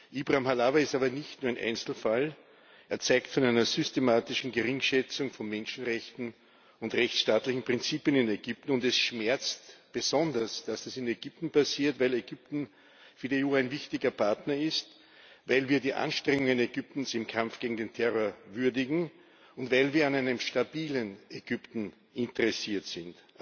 Ibrahim Halawa ist aber nicht nur ein Einzelfall, er zeugt von einer systematischen Geringschätzung von Menschenrechten und rechtsstaatlichen Prinzipien in Ägypten, und es schmerzt besonders, dass es in Ägypten passiert, weil Ägypten für die EU ein wichtiger Partner ist, weil wir die Anstrengungen Ägyptens im Kampf gegen den Terror würdigen und weil wir an einem stabilen Ägypten interessiert sind.